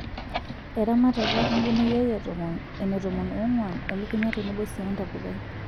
Eramatata embeneyio e tomon, ene tomon oong'wan, elukunya tenbo sii entapukai.